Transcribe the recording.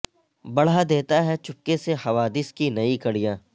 بڑھا دیتا ہے چپکے سے حوادث کی نئی کڑیاں